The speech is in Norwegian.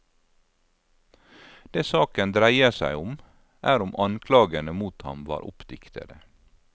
Det saken dreier seg om, er om anklagene mot ham var oppdiktede.